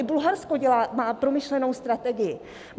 I Bulharsko má promyšlenou strategii.